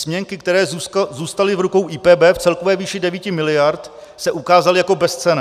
Směnky, které zůstaly v rukou IPB v celkové výši 9 miliard, se ukázaly jako bezcenné.